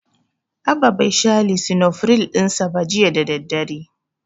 Abba bai sha lisinofiril ɗin sa ba jiya da daddare.